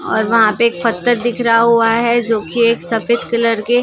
ओर वहां पे एक पत्थर दिख रहा हुआ है जो कि एक सफेद कलर के।